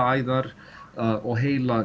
æðar og